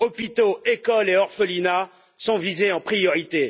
Hôpitaux, écoles et orphelinats sont visés en priorité.